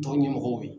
Dɔn ɲɛmɔgɔw ye